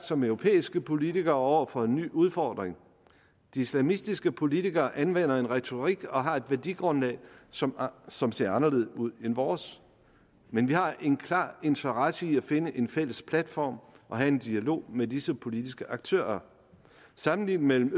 som europæiske politikere selvsagt over for en ny udfordring de islamistiske politikere anvender en retorik og har et værdigrundlag som som ser anderledes ud end vores men vi har en klar interesse i at finde en fælles platform og have en dialog med disse politiske aktører sammenligningen mellem